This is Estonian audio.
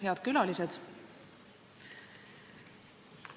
Head külalised!